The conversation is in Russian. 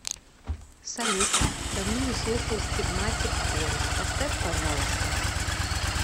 салют давно не слушал стигматик хорус поставь пожалуйста